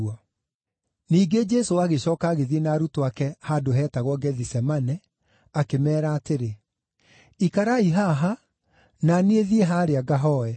Ningĩ Jesũ agĩcooka agĩthiĩ na arutwo ake handũ heetagwo Gethisemane, akĩmeera atĩrĩ, “Ikarai haha, na niĩ thiĩ haarĩa ngahooe.”